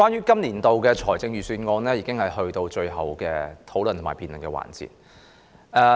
今年的財政預算案已經到了最後的討論和辯論環節。